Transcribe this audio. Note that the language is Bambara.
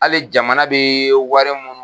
Hali jamana bɛ wari mun